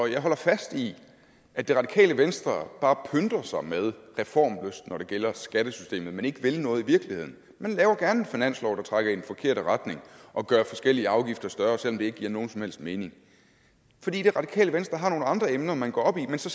jeg holder fast i at det radikale venstre bare pynter sig med reformlyst når det gælder skattesystemet men ikke vil noget i virkeligheden man laver gerne en finanslov der trækker i den forkerte retning og gør forskellige afgifter større selv om det ikke giver nogen som helst mening for det det radikale venstre har nogle andre emner man går op i men så